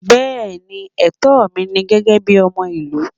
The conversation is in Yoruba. Bẹẹni, etó mí ní gégé bí ọmọ ilu